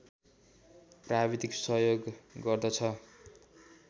प्राविधिक सहयोग गर्दछ